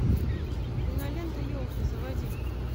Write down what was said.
кинолента елки заводи